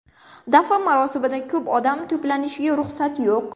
Dafn marosimida ko‘p odam to‘planishiga ruxsat yo‘q.